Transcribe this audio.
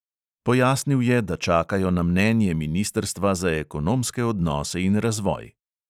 Pojasnil je, da čakajo na mnenje ministrstva za ekonomske odnose in razvoj.